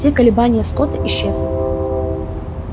все колебания скотта исчезли